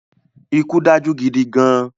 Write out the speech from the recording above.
Ikú dájú gidi gan-an